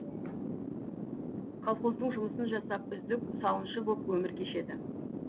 колхоздың жұмысын жасап үздік сауыншы боп өмір кешеді